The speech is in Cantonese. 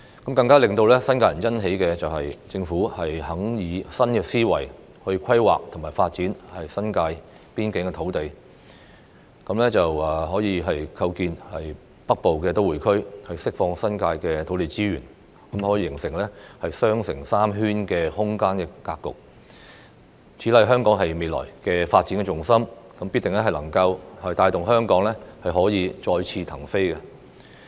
更令新界人欣喜的是，政府願意以新思維規劃和發展新界邊境土地，構建北部都會區，並釋放新界土地資源，形成"雙城三圈"的空間格局。此乃香港未來的發展重心，定必能帶動香港再次騰飛。